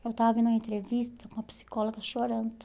Eu estava em uma entrevista com uma psicóloga chorando.